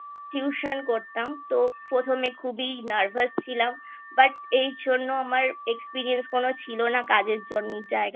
Tuition করতাম তো প্রথমে খুবই Nervous ছিলাম But এই জন্য আমার Experience কোনো ছিল না কাজের জন জায়গায়